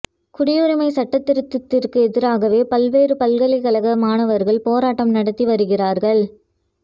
குடியுரிமை சட்ட திருத்தத்திற்கு எதிராக பல்வேறு பல்கலைக்கழக மாணவர்கள் போராட்டம் நடத்தி வருகிறார்கள்